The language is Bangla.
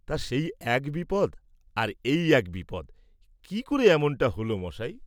তা সেই এক বিপদ আর এই এক বিপদ; কি করে এমনটা হোল মশায়?